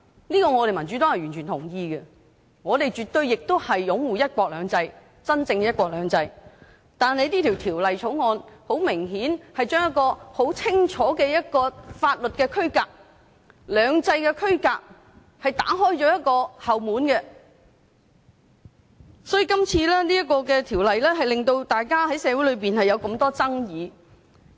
這點民主黨是完全認同的，我們也絕對擁護真正的"一國兩制"，但《條例草案》很明顯地在一個很清晰的法律區隔、兩制的區隔上打開了後門，所以今次這項《條例草案》在社會上引起很多爭議。